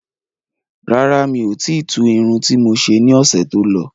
Rárá, miò ti tu Irun ti mo ṣe ní ọ̀sẹ̀ tó lọ